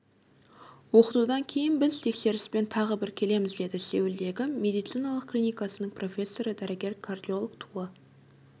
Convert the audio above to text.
оқытудан кейін біз тексеріспен тағы бір келеміз деді сеулдегі медициналық клинкасының профессоры дәрігер кардиолог туа